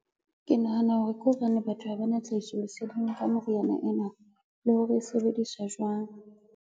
Ke nahana hore ke hobane batho ha ba na tlhahiso leseding ka moriana ena, le hore e sebediswa jwang.